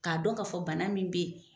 K'a dɔn ka fɔ bana min bɛ yen.